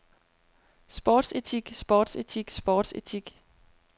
sportsetik sportsetik sportsetik